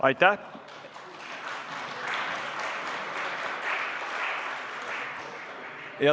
Aitäh!